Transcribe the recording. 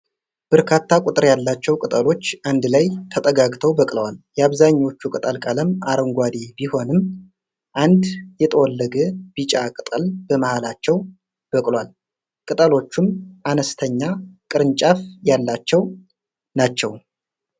በርካታ ቁጥር ያላቸው ቅጠሎች አንድ ላይ ተጠጋግተው በቅለዋል። የአብዛኞቹ ቅጠል ቀለም አረንጋዴ ቢሆንም አንድ የጠወለገ ቢጫ ቅጠል በመሃላቸው በቅሏል። ቅጠሎቹም አነስተኛ ቅርንጫፍ ያላቸው ናቸው።